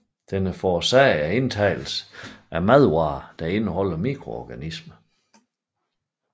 Den er forårsaget af indtagelsen af madvarer der indeholder mikroorganismer